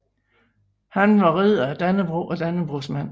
Han var Ridder af Dannebrog og Dannebrogsmand